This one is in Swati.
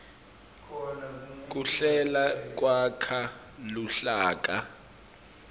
kuhlela kwakha luhlaka